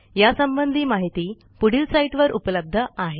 यासंबंधी माहिती पुढील साईटवर उपलब्ध आहे